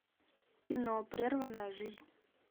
кино прерванная жизнь